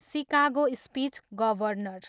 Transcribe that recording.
Chicago speech, governor.